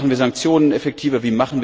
Wie machen wir Sanktionen effektiver?